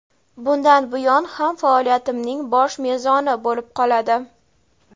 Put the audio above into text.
bundan buyon ham faoliyatimning bosh mezoni bo‘lib qoladi.